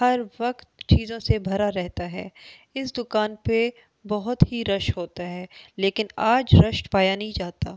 हर वक्त चीजों से भरा रहता है इस दुकान पे बहुत ही रश होता है लेकिन आज रश पाया नहीं जाता।